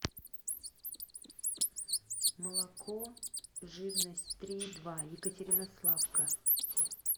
молоко жирность три и два екатеринославка